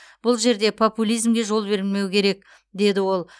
бұл жерде популизмге жол берілмеуі керек деді ол